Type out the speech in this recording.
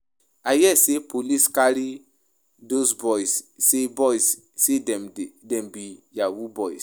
I hear sey police carry dose boys sey dem be yahoo boys.